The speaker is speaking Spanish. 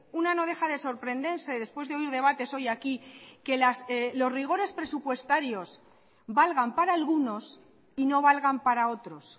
una no deja de sorprenderse después de oír debates hoy aquí que los rigores presupuestarios valgan para algunos y no valgan para otros